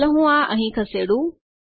ચાલો હું આ અંહિ ખસેડું